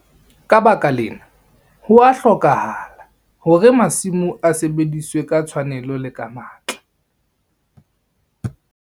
Ka baka lena, ho a hlokahala hore masimo a sebediswe ka tshwanelo le ka matla.